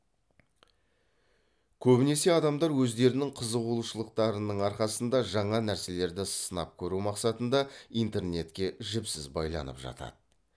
көбінесе адамдар өздерінің қызығушылықтарының арқасында жаңа нәрселерді сынап көру мақсатында интернетке жіпсіз байланып жатады